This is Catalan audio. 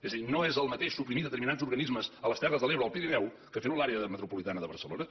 és a dir no és el mateix suprimir determinats organismes a les terres de l’ebre o al pirineu que fer ho a l’àrea metropolitana de barcelona